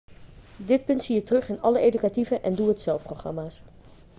dit punt zie je terug in alle educatieve en doe-het-zelf-programma's